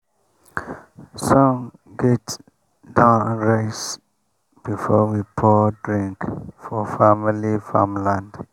sun gats don rise before we pour drink for family farmland.